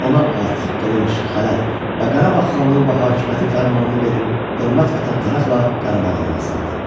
Ona at, qılınc, xələt və Qarabağ xanlığı və hakimiyyəti fərmanını verib, hörmət və təmtəraqla Qarabağa yola saldı.